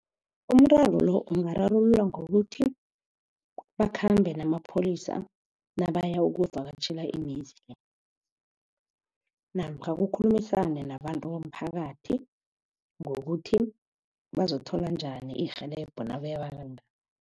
Umraro lo ungararululwa ngokuthi bakhambe namapholisa nabayokuvakatjhela imizi namkha kukhulumiswane nabantu bomphakathi ngokuthi bazokuthola njani irhelebho